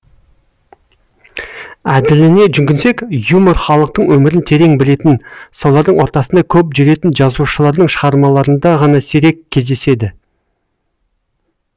әділіне жүгінсек юмор халықтың өмірін терең білетін солардың ортасында көп жүретін жазушылардың шығармаларында ғана сирек кездеседі